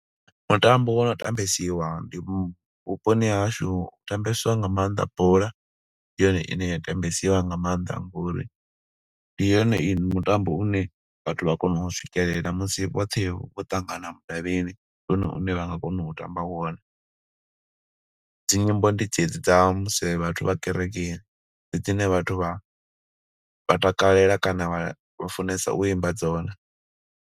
Mutambo wo no tambesiwa ndi vhuponi ha hashu, hu tambesiwa nga maanḓa bola. Ndi yone ine ya tambesiwa nga maanḓa ngo uri ndi yone mutambo une vhathu vha kona u swikelela, musi vhoṱhe vho ṱangana mudavhini. Ndi one une vha nga kona u tamba wone. Dzinyimbo ndi dzedzi dza musi vhathu vha kereke, ndi dzine vhathu vha vha takalela, kana vha funesa u imba dzone.